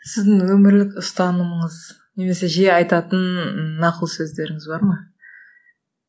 сіздің өмірлік ұстанымыңыз немесе жиі айтатын нақыл сөздеріңіз бар ма